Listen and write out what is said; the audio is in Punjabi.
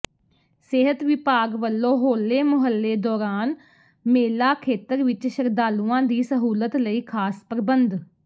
ਸਿਹਤ ਵਿਭਾਗ ਵਲੋਂ ਹੋਲੇ ਮੁਹੱਲੇ ਦੌਰਾਨ ਮੇਲਾ ਖੇਤਰ ਵਿਚ ਸ਼ਰਧਾਲੂਆਂ ਦੀ ਸਹੂਲਤ ਲਈ ਖ਼ਾਸ ਪ੍ਰਬੰਧ